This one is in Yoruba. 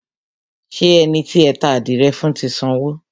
Ṣé ẹni tí ẹ ta àdìrẹ fún ti sanwó?